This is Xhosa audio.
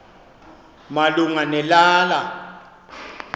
malunga ne lala